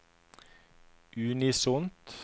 unisont